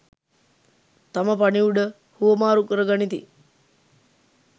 තම පණිවුඩ හුවමාරු කර ගනිති.